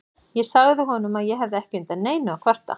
Ég sagði honum að ég hefði ekki undan neinu að kvarta.